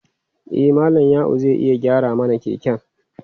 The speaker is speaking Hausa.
E, Malam Ya'u zai iya gyara mana keken.